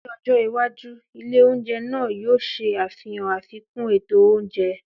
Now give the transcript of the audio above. Ní ọjọ́ iwájú, ilé oúnjẹ náà yóò ṣe àfihàn àfikún ètò oúnjẹ.